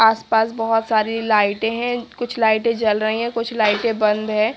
आस-पास बहुत सारी लाइटें हैं कुछ लाइटें जल रही हैं कुछ लाइटें बंद है।